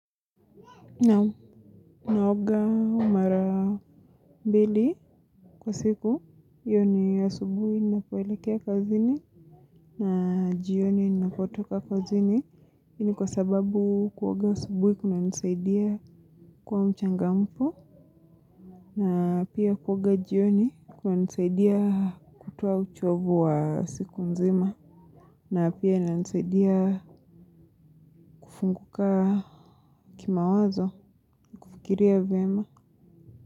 Nao, naoga mara mbili kwa siku. Hiyo ni asubuhi ninapoelekea kazini na jioni ninapotoka kazini. Ni kwa sababu kuoga asubuhi kunanisaidia kuwa mchangamfu. Na pia kuoga jioni kunanisaidia kutoa uchovu wa siku nzima. Na pia inanisaidia kufunguka kimawazo kufikiria vema.